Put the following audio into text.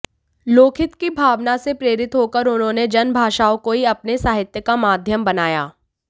लोकहित की भावना से प्रेरित होकर उन्होंने जनभाषाओं को ही अपने साहित्य का माध्यम बनाया